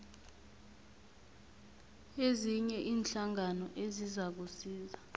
ezinye iinhlangano ezizakusiza